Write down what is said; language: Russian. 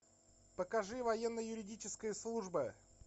покажи военно юридическая служба